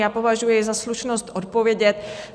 Já považuji za slušnost odpovědět.